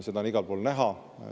Seda on igal pool näha.